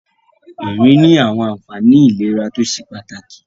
Ìrìn ní àwọn àfààní ìlera tó ṣe pàtàkì.